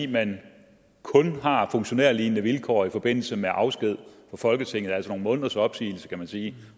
man kun har funktionærlignende vilkår i forbindelse med afsked fra folketinget altså nogle måneders opsigelse kan man sige